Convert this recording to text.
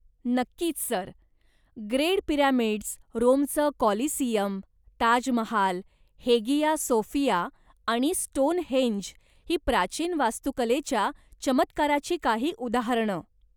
नक्कीच, sir! Great pyramids, रोमचं Colosseum, Taj Mahal, Hagia Sophia आणि स्टोनहेंज ही प्राचीन वास्तुकलेच्या चमत्काराची काही उदाहरणं.